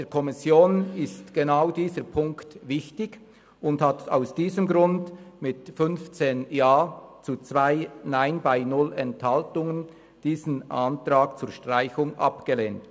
Der Kommission ist genau dieser Punkt wichtig, und sie hat aus diesem Grund mit 15 Ja zu 2 Nein bei 0 Enthaltungen diesen Antrag auf Streichung abgelehnt.